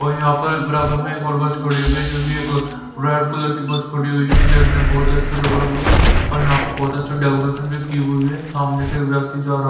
और यहां पर बराबर में एक और बस खड़ी हुई है जो कि एक रेड कलर की बस खड़ी हुई है जो देखने में बहुत अच्छी लग रही है और यहां पर बहुत अच्छा डेकोरेशन भी की हुई है सामने से एक व्यक्ति जा--